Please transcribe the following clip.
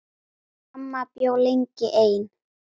Amma bjó lengi ein.